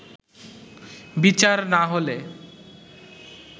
বিচার না হলে